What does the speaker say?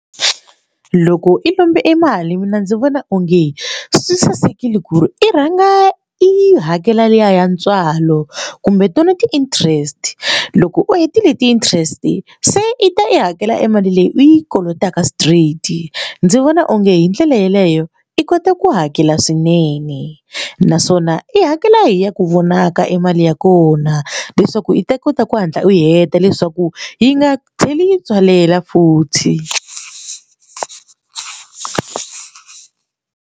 Loko i lomba emali mina ndzi vona onge swi sasekile ku ri i rhanga i hakela liya ya ntswalo kumbe tona ti interest loko u hetile ti interest se i ta i hakela e mali leyi u yi kolotaka straight ndzi vona onge hi ndlela yeleyo i kota ku hakela swinene naswona i hakela hi ya ku vonaka emali ya kona leswaku yi ta kota ku hatla u heta leswaku yi nga tlheli tswalela futhi.